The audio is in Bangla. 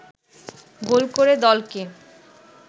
গোল করে দলকে